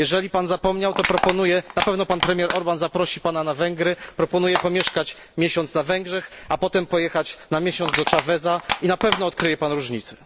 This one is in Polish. Jeżeli Pan zapomniał, to proponuję na pewno pan premier Orbán zaprosi Pana na Węgry proponuję pomieszkać miesiąc na Węgrzech, a potem pojechać na miesiąc do Cháveza i na pewno odkryje Pan różnicę.